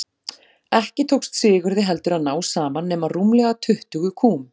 Ekki tókst Sigurði heldur að ná saman nema rúmlega tuttugu kúm.